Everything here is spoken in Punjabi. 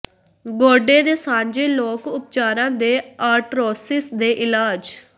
ਗੋਡੇ ਦੇ ਸਾਂਝੇ ਲੋਕ ਉਪਚਾਰਾਂ ਦੇ ਆਰਟਰੋਸਿਸ ਦੇ ਇਲਾਜ